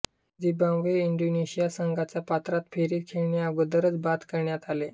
Zimbabwe व Indonesia संघांना पात्रता फेरी खेळण्याअगोदरच बाद करण्यात आले